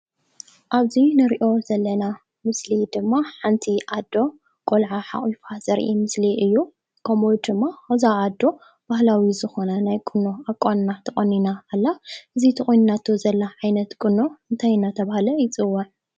ኣብዚ እንሪኦ ዘለና ምስሊ ድማ ሓንቲ ኣዶ ቆልዓ ሓቁፋ ዘርኢ ምስሊ እዩ። ከምኡ ድማ እዛ ኣዶ ባህላዊ ዝኮነ ቁኖ ተቆኒና ኣላ። እዚ ተቆኒናቶ ዘላ ዓይነት ቁኖ እንታይ እንዳተባሃለ ይፅዋዕ ?